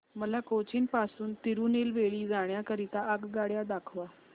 मला कोचीन पासून तिरूनेलवेली जाण्या करीता आगगाड्या दाखवा